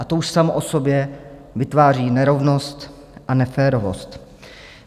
A to už samo o sobě vytváří nerovnost a neférovost.